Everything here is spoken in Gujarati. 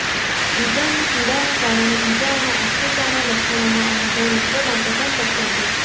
ઘૂંટણની પીડાને કારણે ઇજાઓના અસ્થિરતાના લક્ષણોનો અનુભવ લોકો માટે પણ શક્ય છે